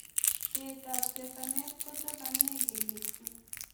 cheet ap chesanet kochokanee keliek chuu